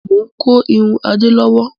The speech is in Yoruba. Mo ń kó irun Adé lọ́wọ́